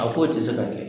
A ko tɛ se ka kɛ